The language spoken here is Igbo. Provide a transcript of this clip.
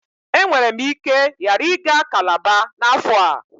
E nwere m ike ghara iga cálábá na afo a